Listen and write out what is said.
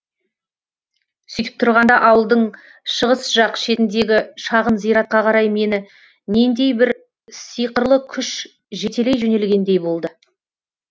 сөйтіп тұрғанда ауылдың шығыс жақ шетіндегі шағын зиратқа қарай мені нендей бір сыйқырлы күш жетелей жөнелгендей болды